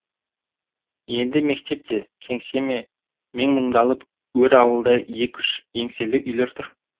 енді мектеп пе кеңсе ме менмұндалап өр ауылда екі үш еңселі үйлер тұр